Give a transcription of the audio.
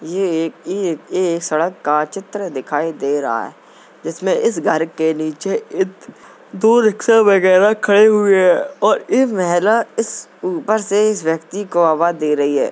ये एक एक सड़क का चित्र दिखाई दे रहा है जिसमे इस घर के नीचे इत दो रिक्शा वगैरह खड़े हुए है और एक महिला ऊपर से इस व्यक्ति को आवाज़ दे रही है।